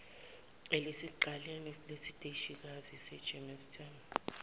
elisekuqaleni kwesiteshikazi sasegermiston